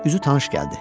Üzü tanış gəldi.